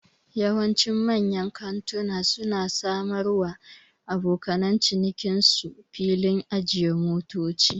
Yawanci manyan kantuna su na samar wa abokan cinikin su filin ajiyan motoci